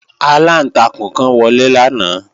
Aláǹtakùn kan wọlé lánàá